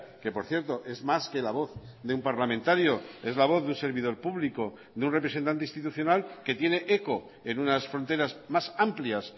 que por cierto es más que la voz de un parlamentario es la voz de un servidor público de un representante institucional que tiene eco en unas fronteras más amplias